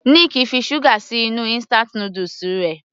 Nick fi sugar sí inú instant noodles rẹ̀.